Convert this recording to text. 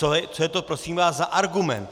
Co je to prosím vás za argument?